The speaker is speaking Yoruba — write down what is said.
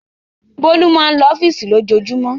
Bólú máa ń lọ ọ́fíísì lójoojúmọ́.